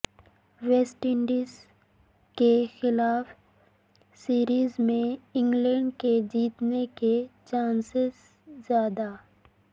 waste Indies کے خلاف series میں انگلینڈ کے جیتنے کے چانس زیادہ